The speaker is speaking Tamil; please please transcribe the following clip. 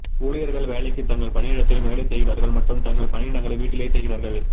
ஊழியர்கள் வேலைக்கு தங்கள் பணியிடத்தில் வேலை செய்கிறார்கள் மற்றும் தங்கள் பணியிடங்களை வீட்டிலேயே செய்கிறார்கள்